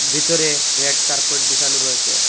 ভিতরে red carpet বিসানো রয়েসে।